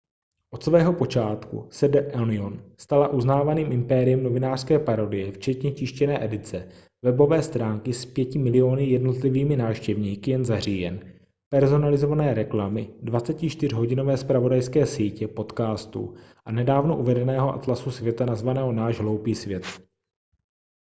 od svého počátku se the onion stala uznávaným impériem novinářské parodie včetně tištěné edice webové stránky s 5 000 000 jednotlivými návštěvníky jen za říjen personalizované reklamy 24hodinové zpravodajské sítě podcastů a nedávno uvedeného atlasu světa nazvaného náš hloupý svět